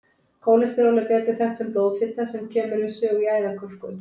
Kólesteról er betur þekkt sem blóðfita sem kemur við sögu í æðakölkun.